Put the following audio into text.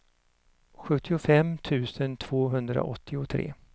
sjuttiofem tusen tvåhundraåttiotre